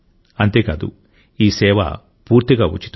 అంతేకాదు ఈ సేవ పూర్తిగా ఉచితం